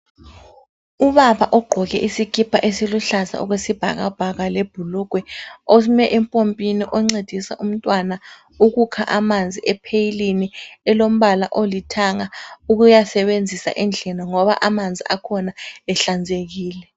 Ubaba ogqoke isikipa esiluhlaza okwesibhakabhaka, lebhulugwe ome empompini oncedisa umntwana ukukha amanzi epheyilini elombala olithanga ukuyasebenzisa endlini ngoba amanzi akhona ehlanzekile.